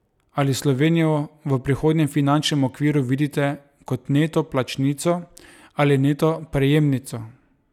Ali Slovenijo v prihodnjem finančnem okviru vidite kot neto plačnico ali neto prejemnico?